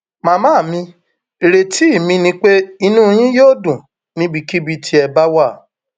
màmá mi ìrètí mi ni pé inú yín yóò dùn níbikíbi tí ẹ bá wà